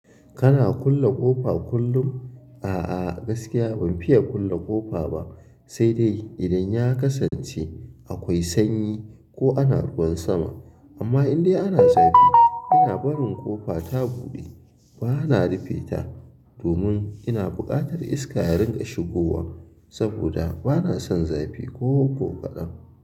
Kana kulle ƙofa kullum? A a gaskiya ban fiye kulle ƙofa ba sedai idan ya kasance akwai sanyi ko ana ruwan sama amma indai ana zafi, ina barin ƙofa ta buɗe bana rufe ta domin ina buƙatar iska ya ringa shigowa saboda bana son zafi kokoƙaɗan.